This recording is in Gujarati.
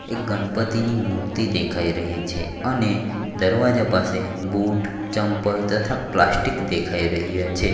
એક ગનપતિની મૂર્તિ દેખાય રહી છે અને દરવાજા પાસે બુટ ચમ્પલ તથા પ્લાસ્ટિક દેખાય રહ્યા છે.